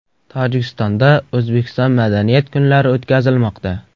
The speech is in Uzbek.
Tojikistonda O‘zbekiston madaniyat kunlari o‘tkazilmoqda .